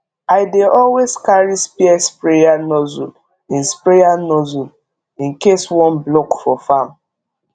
i dey always carry spare sprayer nozzle in sprayer nozzle in case one block for farm